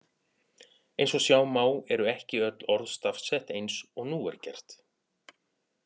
Eins og sjá má eru ekki öll orð stafsett eins og nú er gert.